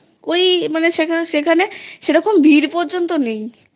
ওই মানে সেখানে সেরোম ভিড় পর্যন্ত নেই